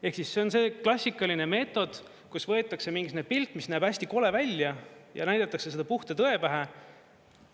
Ehk siis see on see klassikaline meetod, kus võetakse mingisugune pilt, mis näeb hästi kole välja, ja näidatakse seda puhta tõe pähe.